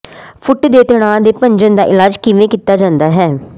ਫੁੱਟ ਦੇ ਤਣਾਅ ਦੇ ਭੰਜਨ ਦਾ ਇਲਾਜ ਕਿਵੇਂ ਕੀਤਾ ਜਾਂਦਾ ਹੈ